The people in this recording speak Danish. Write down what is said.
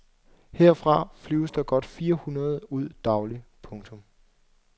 Herfra flyves der godt fire hundrede ud dagligt. punktum